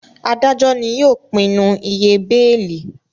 Adajọ ní yóò pinnu ìyè beeli